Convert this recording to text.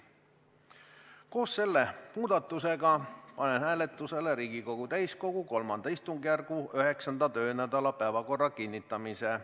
Koos selle muudatusega panen hääletusele Riigikogu täiskogu III istungjärgu 9. töönädala päevakorra kinnitamise.